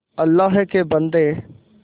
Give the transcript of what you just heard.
अल्लाह के बन्दे